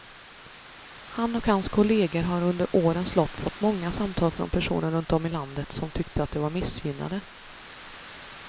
Han och hans kolleger har under årens lopp fått många samtal från personer runt om i landet som tyckte att de var missgynnade.